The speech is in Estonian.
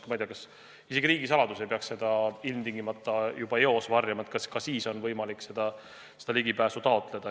Ma ei tea, vahest isegi riigisaladust ei peaks ilmtingimata juba eos varjama, ka sellele on võimalik ligipääsu taotleda.